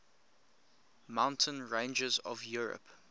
mountain ranges of europe